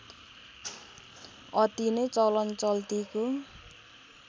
अति नै चलन चल्तिको